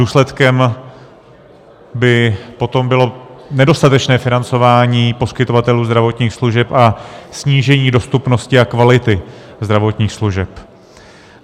Důsledkem by potom bylo nedostatečné financování poskytovatelů zdravotních služeb a snížení dostupnosti a kvality zdravotních služeb.